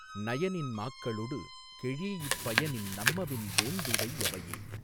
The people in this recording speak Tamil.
நயனின் மாக்களொடு கெழீஇப் பயனின் நம்மவின் வேந்துடை யவையே